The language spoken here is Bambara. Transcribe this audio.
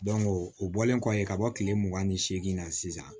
o bɔlen kɔ yen ka bɔ kile mugan ni segin na sisan